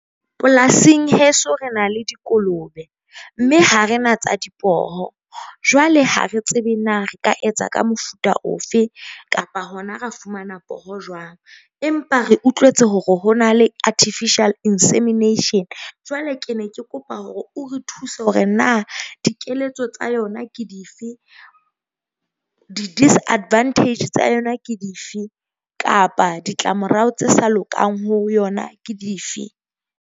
Polasing heso, re na le dikolobe mme ha re na tsa dipoho, jwale ha re tsebe na re ka etsa ka mofuta ofe kapa hona ra fumana poho jwang. Empa re utlwetse hore ho na le artificial insemination. Jwale ke ne ke kopa hore o re thuse hore na dikeletso tsa yona ke dife. Di-disadvantage tsa yona ke dife kapa ditlamorao tse sa lokang ho yona ke dife?